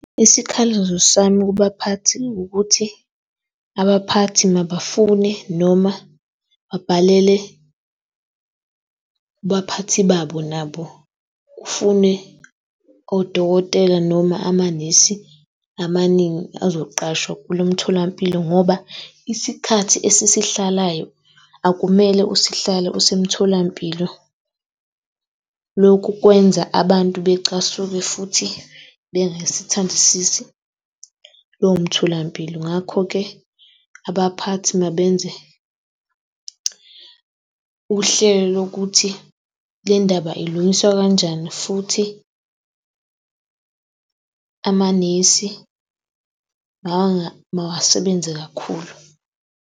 Isikhalazo sami kubaphathi ukuthi abaphathi mabafune noma babhalele kubaphathi babo nabo. Kufune odokotela noma amanesi amaningi azoqashwa kulo mtholampilo ngoba isikhathi esisihlalayo akumele usihlale usemtholampilo. Lokhu kwenza abantu becasuke futhi bengasithandisisi lowo mtholampilo. Ngakho-ke, abaphathi mabenze uhlelo lokuthi le ndaba ilungiswa kanjani. Futhi amanesi mawasebenze kakhulu.